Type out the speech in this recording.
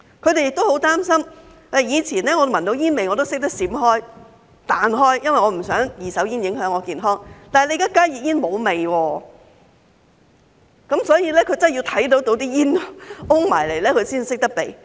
他們也十分擔心，以前如果聞到煙味，大家懂得閃避，不想被二手煙影響健康，但現在加熱煙沒有味道，大家真的要看到煙霧攻過來才懂得避開。